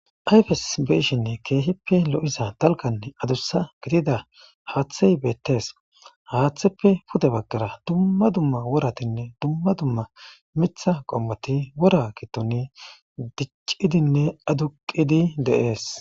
ayfes beyshinne keehippe lo7iza dalganne adussa gidida haaththey beettees haaththeppe pude baggara dumma dumma woratinne dumma dumma mitha qommoti wora gitoni diccidinne aduqidi de7ees